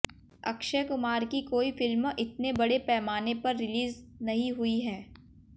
अक्षय कुमार की कोई फिल्म इतने बड़े पैमाने पर रिलीज नहीं हुई है